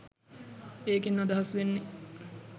ඒකෙන් අදහස් වෙන්නෙ